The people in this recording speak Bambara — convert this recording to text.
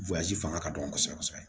fanga ka dɔgɔ kosɛbɛ kosɛbɛ